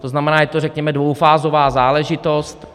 To znamená, je to řekněme dvoufázová záležitost.